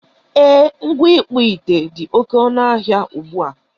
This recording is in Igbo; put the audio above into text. E, ngwa ịkpụ ite dị oké ọnụ ahịa ugbua.